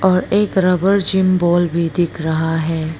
और एक rubber gym ball भी दिख रहा है।